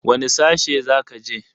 Wane sashe za ka je?